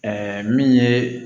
min ye